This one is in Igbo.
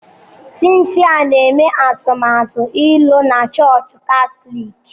Cynthia na-eme atụmatụ ịlụ na chọọchị Katọlik.